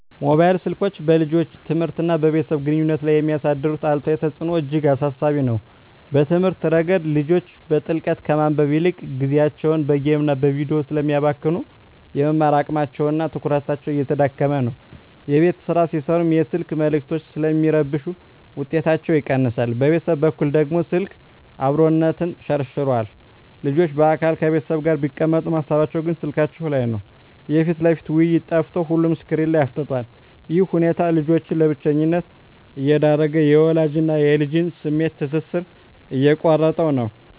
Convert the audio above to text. ሞባይል ስልኮች በልጆች ትምህርትና በቤተሰብ ግንኙነት ላይ የሚያሳድሩት አሉታዊ ተጽዕኖ እጅግ አሳሳቢ ነው። በትምህርት ረገድ፣ ልጆች በጥልቀት ከማንበብ ይልቅ ጊዜያቸውን በጌምና በቪዲዮ ስለሚያባክኑ፣ የመማር አቅማቸውና ትኩረታቸው እየተዳከመ ነው። የቤት ሥራ ሲሠሩም የስልክ መልዕክቶች ስለሚረብሹ ውጤታቸው ይቀንሳል። በቤተሰብ በኩል ደግሞ፣ ስልክ "አብሮነትን" ሸርሽሮታል። ልጆች በአካል ከቤተሰብ ጋር ቢቀመጡም፣ ሃሳባቸው ግን ስልካቸው ላይ ነው። የፊት ለፊት ውይይት ጠፍቶ ሁሉም ስክሪን ላይ አፍጥጧል። ይህ ሁኔታ ልጆችን ለብቸኝነት እየዳረገ፣ የወላጅና ልጅን የስሜት ትስስር እየቆረጠው ነው።